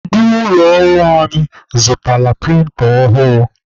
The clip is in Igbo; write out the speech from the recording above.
Ndị ụlọ ọrụ anyị zụtara prịnta ọhụrụ.